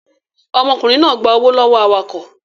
Ọmọkùnrin náà gba owó lọ́wọ́ awakọ̀